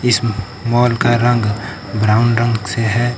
इस मॉल का रंग ब्राउन रंग से है।